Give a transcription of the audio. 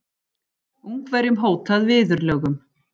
Ungverjum hótað viðurlögum